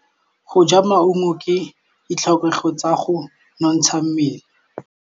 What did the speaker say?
Go ja maungo ke ditlhokegô tsa go nontsha mmele.